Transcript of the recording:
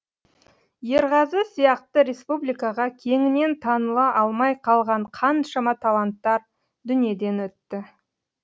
ерғазы сияқты республикаға кеңінен таныла алмай қалған қаншама таланттар дүниеден өтті